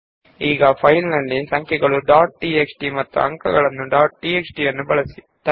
ಈಗ ನಾವು numbers dot T X T ಮತ್ತು ಮಾರ್ಕ್ಸ್ ಡಾಟ್ ಟಿಎಕ್ಸ್ಟಿ ಎರಡನ್ನೂ ಉಪಯೋಗಿಸೋಣ